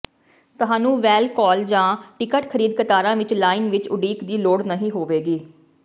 ਤੁਹਾਨੂੰ ਵੈਲ ਕਾਲ ਜਾਂ ਟਿਕਟ ਖਰੀਦ ਕਤਾਰਾਂ ਵਿੱਚ ਲਾਈਨ ਵਿੱਚ ਉਡੀਕ ਦੀ ਲੋੜ ਨਹੀਂ ਹੋਵੇਗੀ